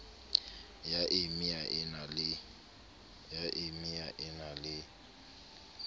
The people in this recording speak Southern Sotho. ya emia e na le